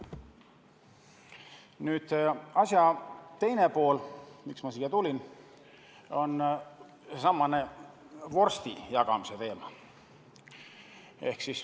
Nüüd aga asja teine pool, miks ma siia tulin: see on seesama vorsti jagamise teema.